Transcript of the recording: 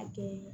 A kɛ